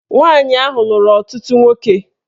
Nwaanyị ahụ lụrụ ọtụtụ nwoke